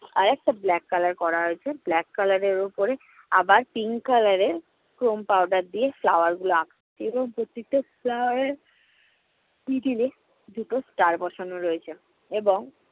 আরেকটা black color করা রয়েছে। black color এর ওপরে আবার pink color এর foam powder দিয়ে flower গুলো flower এর দুটো star বসানো রয়েছে, এবং